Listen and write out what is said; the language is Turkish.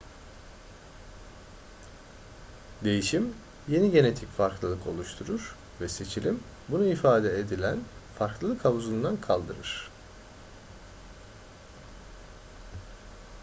değişim yeni genetik farklılık oluşturur ve seçilim bunu ifade edilen farklılık havuzundan kaldırır